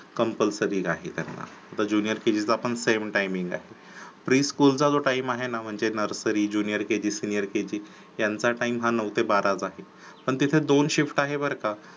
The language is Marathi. Compulsary आहे त्यांना, आता Jr kg चा पण same timing आहे pre school चा जो time आहे ना म्हणजे nursary junior kg senior kg ह्यांचा time हा नऊ ते बाराच आहे. पण तिथे दोन shift आहे बर का